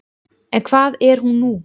En hvað er hún nú?